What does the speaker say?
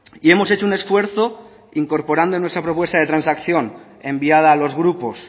y hemos hecho un esfuerzo incorporando en nuestra propuesta de transacción enviada a los grupos